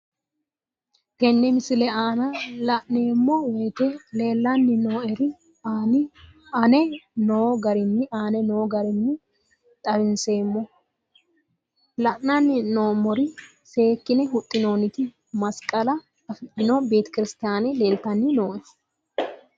Tenne misile aana laeemmo woyte leelanni noo'ere aane noo garinni xawiseemmo. La'anni noomorri seekine huxxinoonitti masiqalla afidhinno beetekirisitiyaane leelitanni nooe.